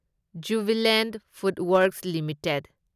Jubilant FoodWorks limited